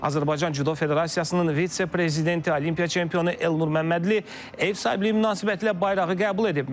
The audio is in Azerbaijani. Azərbaycan Cüdo Federasiyasının vitse-prezidenti, Olimpiya çempionu Elnur Məmmədli ev sahibliyi münasibətilə bayrağı qəbul edib.